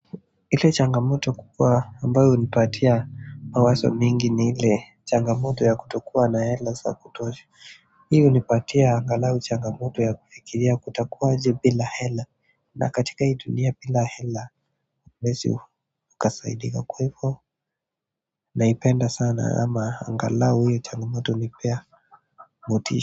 Ile changamoto kubwa ambayo hunipatia mawazo mengi ni ile changamoto ya kutokuwa na hela za kutosha hii hunipatia angalau changamoto ya kufikiria kutakuwa aje bila hela na katika hii dunia bila hela huwezi ukasaidika kwa hivo naipenda sana ama angalao hiyo changamoto hunipea motisha.